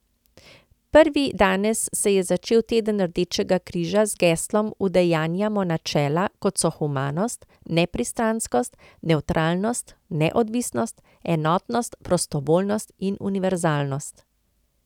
Prav danes se je začel teden Rdečega križa z geslom Udejanjamo načela, kot so humanost, nepristranskost, nevtralnost, neodvisnost, enotnost, prostovoljnost in univerzalnost.